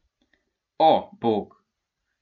O, Bog.